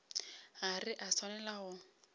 ga re a swanela go